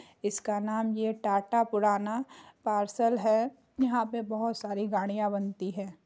इसका नाम ये टाटा पुराना पार्सल है यहां पर बहुत सारी गाड़ियां बनती है ।